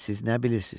Siz nə bilirsiz?